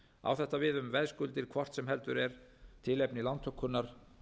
á þetta við um veðskuldir hvort sem heldur er tilefni lántökunnar